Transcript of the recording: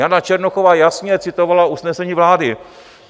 Jana Černochová jasně citovala usnesení vlády.